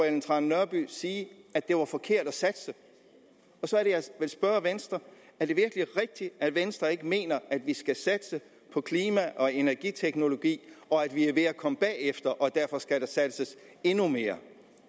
ellen trane nørby sige at det var forkert at satse og så er det jeg vil spørge venstre er det virkelig rigtigt at venstre ikke mener at vi skal satse på klima og energiteknologi at vi er ved at komme bagefter og at der derfor skal satses endnu mere